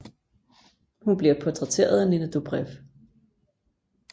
Hun bliver portrætteret af Nina Dobrev